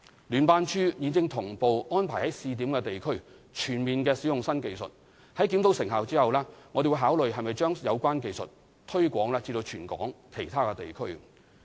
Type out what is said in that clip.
聯辦處現正同步安排於試點地區全面使用新技術，在檢討成效後，我們會考慮是否將有關技術推擴至全港其他地區。